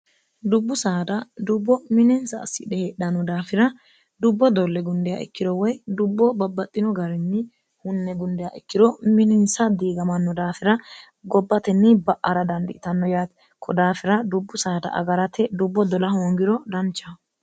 dubbu saada dubbo mininsa assidhe heedhanno daafira dubbo dolle gundiya ikkiro woy dubbo babbaxxino garinni hunne gundiya ikkiro mininsa diigamanno daafira gobbatenni ba'ara dandiitanno yaate kodaafira dubbu saada agarate dubbo dola hoongiro danchaho